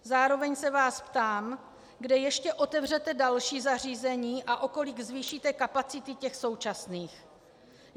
Zároveň se vás ptám, kde ještě otevřete další zařízení a o kolik zvýšíte kapacity těch současných.